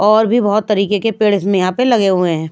और भी बहुत तरीके के पेड़ इसमें यहाँ पे लगे हुए हैं।